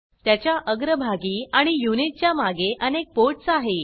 त्याच्या अग्र भागी आणि यूनिट च्या मागे अनेक पोर्टस् आहे